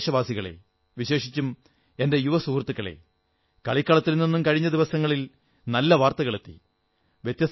എന്റെ പ്രിയപ്പെട്ട ദേശവാസികളേ വിശേഷിച്ചും എന്റെ യുവസുഹൃത്തുക്കളേ കളിക്കളത്തിൽ നിന്നും കഴിഞ്ഞ ദിവസങ്ങളിൽ നല്ല വാർത്തകളെത്തി